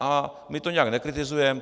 A my to nijak nekritizujeme.